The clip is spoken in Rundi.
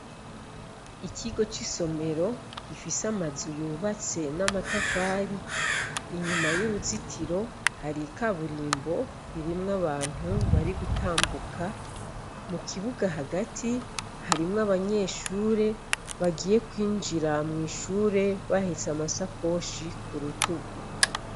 Ikigo ci somero gifise amazu yubatse n'amatafari, inyuma y'uruzitiro hari ikaburimbo ririmwo abantu bari gutambuka mu kibuga hagati harimwo abanyeshuri bagiye kwinjira mw'ishure bahetse amasakoshi ku rutugu.